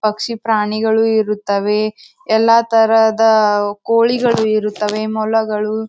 ಪಕ್ಷಿ ಪ್ರಾಣಿಗಳು ಇರುತ್ತವೆ ಎಲ್ಲಾ ತರದ ಕೋಳಿಗಳು ಇರುತ್ತವೆ ಮೊಲಗಳು.